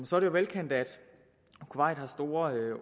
så er det velkendt at kuwait har store